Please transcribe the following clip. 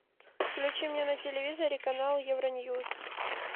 включи мне на телевизоре канал евроньюс